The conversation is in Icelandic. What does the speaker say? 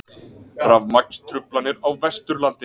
Rafmagnstruflanir á Vesturlandi